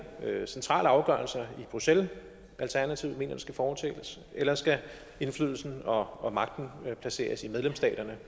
centrale afgørelser i bruxelles alternativet mener der skal foretages eller skal indflydelsen og magten placeres i medlemsstaterne